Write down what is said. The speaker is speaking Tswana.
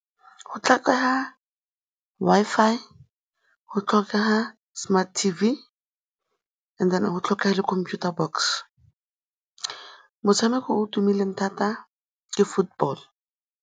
Go tlhokega Wi-Fi, go tlhokega smart T_V, and then go tlhokega le computer box, motshameko o tumileng thata ke football.